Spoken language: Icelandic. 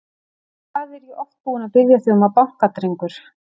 Hvað er ég oft búinn að biðja þig um að banka, drengur?